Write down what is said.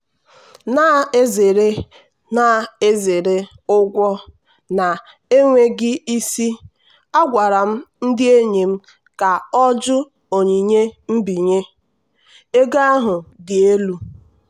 na-ezere na-ezere ụgwọ na-enweghị isi a gwara m ndị enyi m ka ọ jụ onyinye mbinye ego ahụ dị elu.